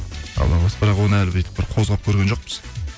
бірақ оны әлі бүйтіп бір қозғап көрген жоқпыз